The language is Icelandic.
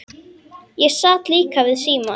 Ég sat líka við símann.